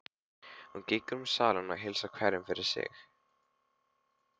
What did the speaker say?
Hún gengur um salinn og heilsar hverjum fyrir sig.